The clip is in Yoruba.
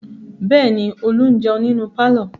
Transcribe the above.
Bẹ́ẹ̀ ni, Olú ń jẹun nínú pálọ̀.